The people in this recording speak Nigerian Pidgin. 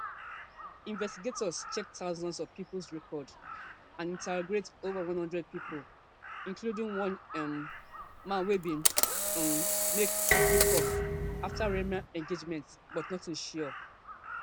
investigators check thousands of phone records and interrogate ova one hundred pipo including one um man wey bin um make threa ten ing call afta reema engagement but notin sure